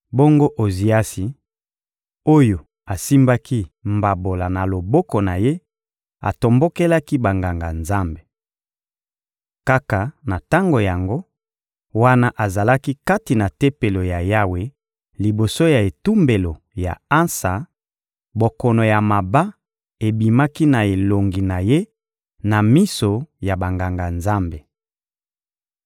Bongo Oziasi, oyo asimbaki mbabola na loboko na ye, atombokelaki Banganga-Nzambe. Kaka na tango yango, wana azalaki kati na Tempelo ya Yawe liboso ya etumbelo ya ansa, bokono ya maba ebimaki na elongi na ye na miso ya Banganga-Nzambe.